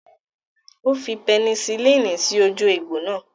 Ó fi pẹnisilini sí ojú egbò náà.